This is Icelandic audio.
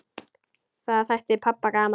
Það þætti pabba gaman.